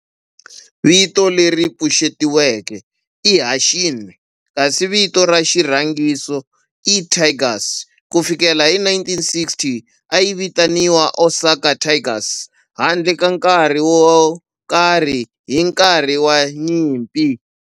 Vito leri pfuxetiweke i"Hanshin" kasi vito ra xirhangiso i"Tigers". Ku fikela hi 1960, a yi vitaniwa Osaka Tigers handle ka nkarhi wo karhi hi nkarhi wa nyimpi.